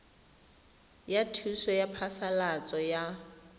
ya thuso ya phasalatso ya